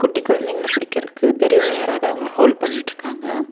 குட்டி கொழந்தைங்கள புடிக்கறதுக்கு பெரியவங்க யாராவது அவங்கள ஹோல்ட் பண்ணிட்ருக்காங்க.